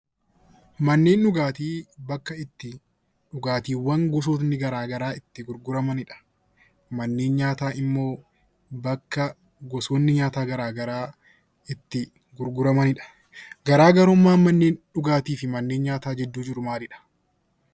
Manneen dhugaatii bakka itti dhugaatiiwwan gosti garaagaraa itti gurguramanidha. Manneen nyaataa immoo bakka gosoonni nyaataa garaagaraa itti gurguramanidha. Garaagarummaan manneen nyaataa fi dhugaatii gidduu jiru maaldihaa?